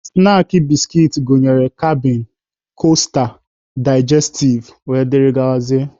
Snaakị biskit gụnyere kabịn, kosta, daijestiv wdg.